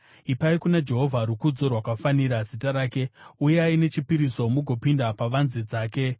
Ipai kuna Jehovha rukudzo rwakafanira zita rake; uyai nechipiriso mugopinda pavanze dzake.